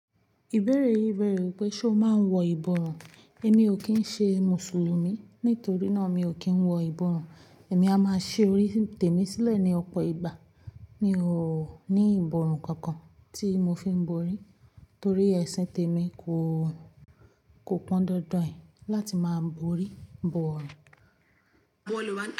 Ìbéèrè yìí bẹ̀rẹ̀ wípé, ṣé o máa ń wọ ìbọrùn? Èmi ò kí ń ṣe Mùsùlùmí, nítorí náà mi ò kí ń wọ ìbọrùn. Èmi a máa ṣe orí tèmi sílẹ̀ ní ọ̀pọ̀ ìgbà. Mi ò ní ìbọrùn kankan tí mo fi ń borí torí ẹ̀sìn tèmi kò, kò pọn dandan láti máa borí ìbọrùn.